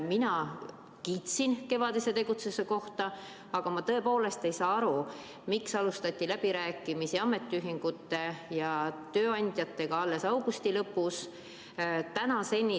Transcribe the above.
Mina kiitsin kevadise tegutsemise eest, aga ma tõepoolest ei saa aru, miks alustati läbirääkimisi ametiühingute ja tööandjatega alles augusti lõpus.